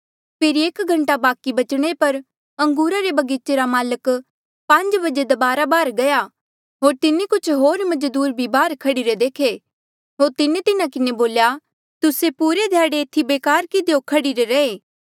फेरी एक घंटा बाकि बचणे पर अंगूरा रे बगीचे रा माल्क पांज बजे दबारा बाहर गया होर तिन्हें कुछ होर मजदूर भी बाहर खड़ीरे देखे होर तिन्हें तिन्हा किन्हें बोल्या तूस्से पुरे ध्याड़े एथी बेकार किधियो खड़ीरे रहे